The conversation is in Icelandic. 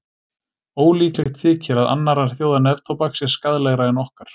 Ólíklegt þykir að annarra þjóða neftóbak sé skaðlegra en okkar.